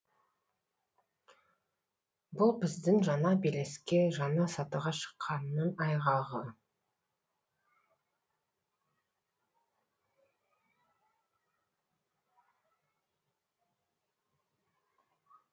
бұл біздің жаңа белеске жаңа сатыға шыққанның айғағы